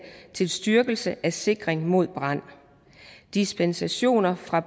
til styrkelse af sikringen mod brand dispensationer fra